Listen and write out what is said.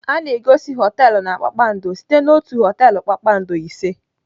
A na-egosi họteelụ na kpakpando site na otu họteelụ kpakpando ise.